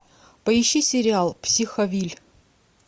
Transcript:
поищи сериал психовилль